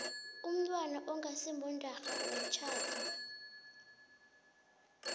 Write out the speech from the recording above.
umntwana ongasimondarha womtjhado